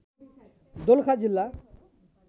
दोलखा जिल्ला